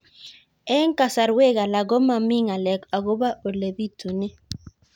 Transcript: Eng' kasarwek alak ko mami ng'alek akopo ole pitunee